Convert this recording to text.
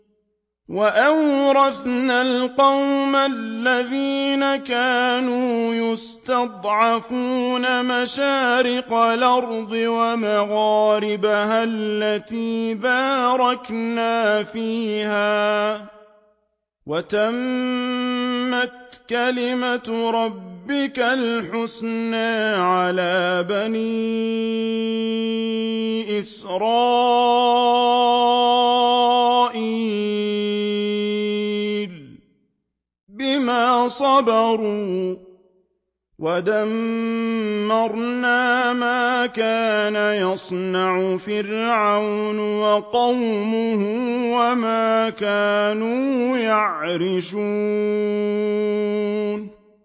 وَأَوْرَثْنَا الْقَوْمَ الَّذِينَ كَانُوا يُسْتَضْعَفُونَ مَشَارِقَ الْأَرْضِ وَمَغَارِبَهَا الَّتِي بَارَكْنَا فِيهَا ۖ وَتَمَّتْ كَلِمَتُ رَبِّكَ الْحُسْنَىٰ عَلَىٰ بَنِي إِسْرَائِيلَ بِمَا صَبَرُوا ۖ وَدَمَّرْنَا مَا كَانَ يَصْنَعُ فِرْعَوْنُ وَقَوْمُهُ وَمَا كَانُوا يَعْرِشُونَ